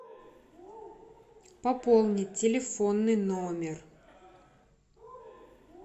пополнить телефонный номер